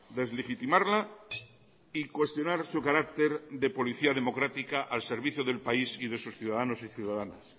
deslegitimarla y cuestionar su carácter de policía democrática al servicio del país y de sus ciudadanos y ciudadanas